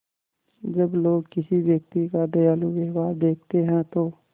जब लोग किसी व्यक्ति का दयालु व्यवहार देखते हैं तो